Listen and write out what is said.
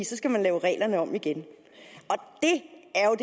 så skal man lave reglerne om igen det er